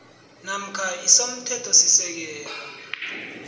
namkha i somthethosisekelo